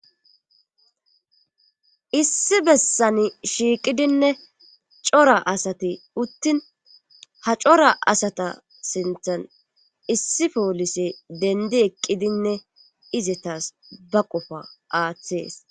issi bessani shiiqidinne cora asati uttin ha cora asata sinthan issi poolise dendi eqqidinne izetas ba qofa aaththees